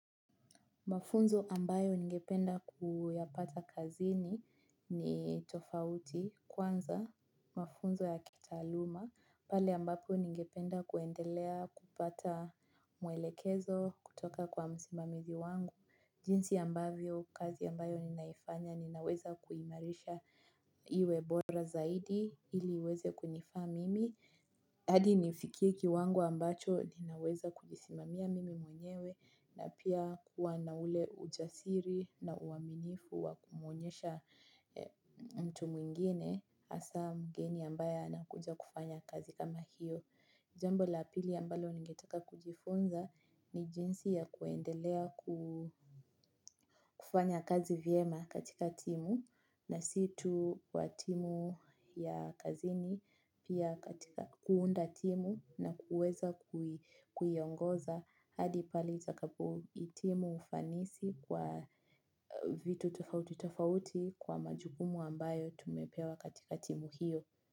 Mafunzo ambayo ningependa kuyapata kazini ni tofauti kwanza, mafunzo ya kitaaluma, pale ambapo ningependa kuendelea kupata mwelekezo kutoka kwa msimamizi wangu. Jinsi ambavyo kazi ambayo ninaifanya ninaweza kuimarisha iwe bora zaidi ili iweze kunifaa mimi hadi nifikie kiwango ambacho ninaweza kujisimamia mimi mwenyewe na pia kuwa na ule ujasiri na uaminifu wa kumwonyesha mtu mwingine hasa mgeni ambaye anakuja kufanya kazi kama hiyo. Jambo la pili ambalo ningetaka kujifunza ni jinsi ya kuendelea kufanya kazi vyema katika timu na sit tu kwa timu ya kazini pia katika kuunda timu na kuweza kuiongoza hadi pale itakapo hitimu ufanisi kwa vitu tofauti tofauti kwa majukumu ambayo tumepewa katika timu hiyo.